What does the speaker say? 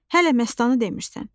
Hələ məstanı demirsən.